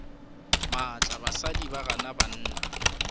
maatla basadi ba gana banna